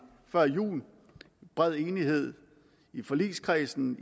før jul i bred enighed i forligskredsen